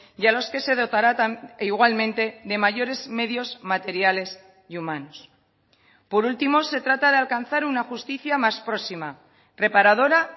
y a los que se dotará igualmente de mayores medios materiales y humanos por último se trata de alcanzar una justicia más próxima reparadora